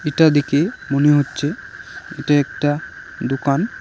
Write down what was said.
এটা দেখে মনে হচ্ছে এটা একটা দোকান।